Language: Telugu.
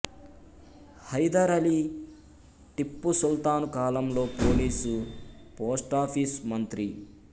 హైదర్ అలీ టిప్పు సుల్తాన్ కాలంలో పోలీసు పోస్టాఫీసు మంత్రి